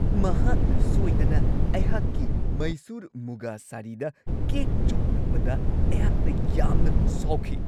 ꯃꯍꯥꯛꯅ ꯁꯣꯏꯗꯅ ꯑꯩꯍꯥꯛꯀꯤ ꯃꯩꯁꯨꯔ ꯃꯨꯒꯥ ꯁꯥꯔꯤꯗ ꯀꯦꯛ ꯆꯣꯡꯍꯜꯂꯛꯄꯗ ꯑꯩꯍꯥꯛꯅ ꯌꯥꯝꯅ ꯁꯥꯎꯈꯤ ꯫